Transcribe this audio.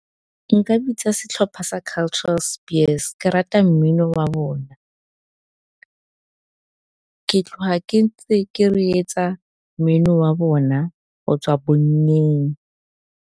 Nka bitsa setlhopha sa Cultural Spears ke rata mmino wa bona, ke tloga ke reetsa mmino wa bona go tswa bonnyeng.